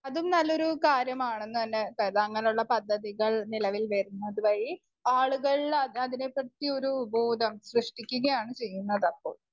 Speaker 1 അതും നല്ലൊരു കാര്യമാണെന്ന് തന്നെ അങ്ങനുള്ള പദ്ധതികൾ നിലവിൽ വരുന്നത് വഴി ആളുകളിൽ അതിനെ പറ്റി ഒരു ബോധം സൃഷ്ടിക്കുകയാണ് ചെയ്യുന്നത്.